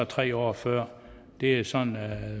tre år før det er sådan